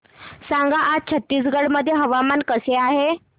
सांगा आज छत्तीसगड मध्ये हवामान कसे आहे